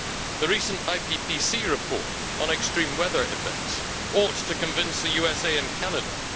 The recent IPCC report on extreme weather events ought to convince the USA and Canada.